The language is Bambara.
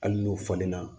Hali n'o falenna